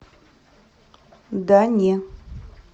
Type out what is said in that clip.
да не